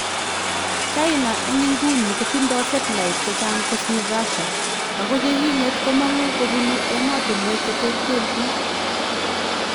China en ingunii kotindoo satellite chechang kosiir Russia ako chikinget komangu kobunuu emotinwek cheterterchin